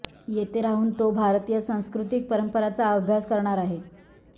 येथे राहून तो भारतीय सांस्कृतिक परंपरांचा अभ्यास करणार आहे